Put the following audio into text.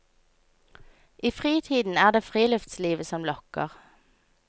I fritiden er det filuftslivet som lokker.